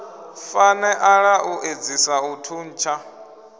faneala u edzisa u thuntsha